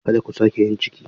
Kada ku sake yin ciki.